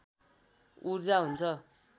ऊर्जा हुन्छ